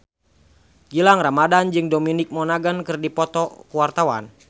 Gilang Ramadan jeung Dominic Monaghan keur dipoto ku wartawan